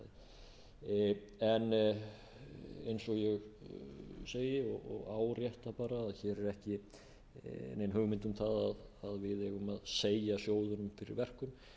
á fasteignamarkaði eins og ég segi og árétta bara hér er ekki nein hugmynd um það að við eigum að segja sjóðunum fyrir verkum